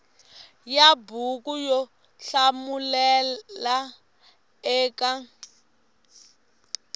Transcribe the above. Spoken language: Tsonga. ya buku yo hlamulela eka